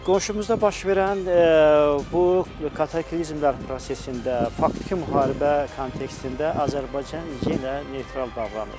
Qonşumuzda baş verən bu kataklizmlər prosesində, faktiki müharibə kontekstində Azərbaycan yenə neytral davranır.